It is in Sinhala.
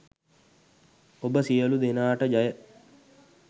ඔබ සියයලු දෙනාටජය